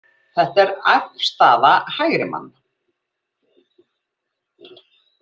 Þetta er afstaða hægrimann.